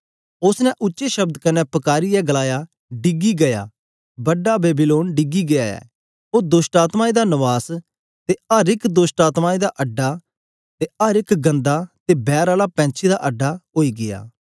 उस्स ने उच्चे शब्द कन्ने पकारीयै गलाया डिगी गीया बड़ा बेबीलोन डिगी गीया ऐ ओ दोष्टआत्मायें दा नवास ते अर एक दोष्टआत्मायें दा अड्डा ते अर एक गन्दा ते बैर आला पैंछी दा अड्डा ओई गीया